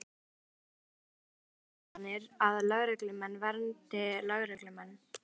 Björn Þorláksson: En þær ásakanir að lögreglumenn verndi lögreglumenn?